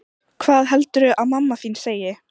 Hvað heldurðu að mamma þín segi?